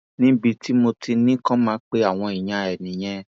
níbi tí mo ti ní kó máa pe àwọn èèyàn ẹ nìyẹn